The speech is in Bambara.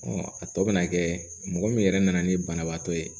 a tɔ bɛ na kɛ mɔgɔ min yɛrɛ nana ni banabaatɔ ye